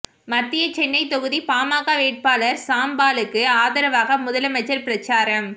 மத்திய சென்னை தொகுதி பாமக வேட்பாளர் சாம் பாலுக்கு ஆதரவாக முதலமைச்சர் பிரச்சாரம்